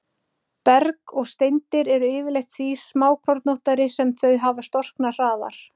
Berg og steindir eru yfirleitt því smákornóttari sem þau hafa storknað hraðar.